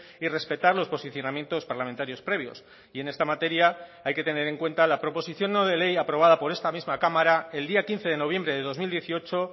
y respetar los posicionamientos parlamentarios previos y en esta materia hay que tener en cuenta la proposición no de ley aprobada por esta misma cámara el día quince de noviembre de dos mil dieciocho